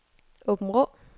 Åbenrå